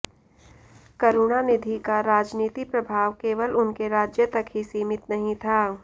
करुणानिधि का राजनीति प्रभाव केवल उनके राज्य तक ही सीमित नहीं था